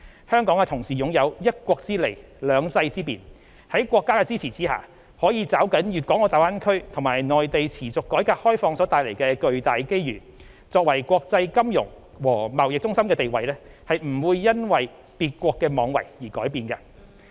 香港同時擁有"一國之利、兩制之便"，在國家的支持下，可抓緊粵港澳大灣區和內地持續改革開放所帶來的巨大機遇，作為國際金融和貿易中心的地位不會因為別國妄為而改變。